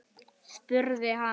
spurði hann